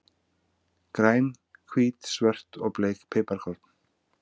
Græn, hvít, svört og bleik piparkorn.